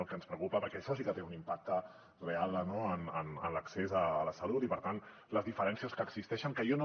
el que ens preocupa perquè això sí que té un impacte real en l’accés a la salut i per tant les diferències que existeixen que jo no